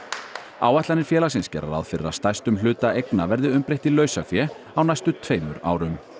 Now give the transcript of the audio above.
áætlanir félagsins gera ráð fyrir að stærstum hluta eigna verði umbreytt í lausafé á næstu tveimur árum